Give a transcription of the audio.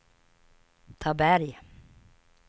Taberg